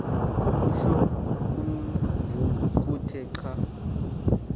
utsho kovokothe xa